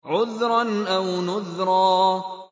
عُذْرًا أَوْ نُذْرًا